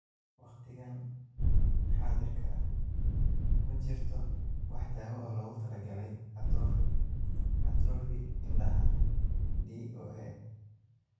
Waqtigan xaadirka ah ma jirto wax daawo ah oo loogu talagalay atrophy atrophy indhaha (DOA).